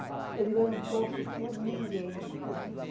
Eu digo, eu não torço por ninguém.